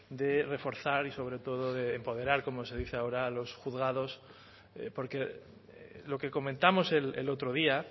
de reforzar y sobre todo de empoderar como se dice ahora a los juzgados porque lo que comentamos el otro día